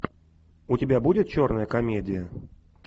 у тебя будет черная комедия